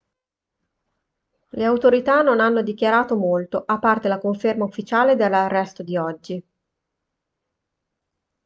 le autorità non hanno dichiarato molto a parte la conferma ufficiale dell'arresto di oggi